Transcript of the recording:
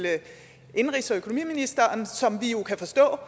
indenrigs og økonomiministeren som vi kan forstå